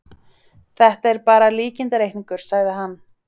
Þetta er bara líkindareikningur, sagði hann.